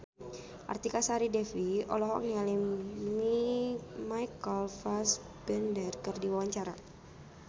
Artika Sari Devi olohok ningali Michael Fassbender keur diwawancara